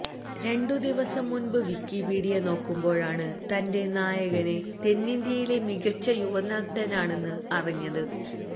രണ്ടു ദിവസം മുന്പ് വിക്കി പീഡിയ നോക്കുമ്പോഴാണ് തന്റെ നായകന് തെന്നിന്ത്യയിലെ മികച്ച യുവനടനാണെന്ന് അറിഞ്ഞത്